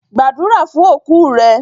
Pray for your deceased!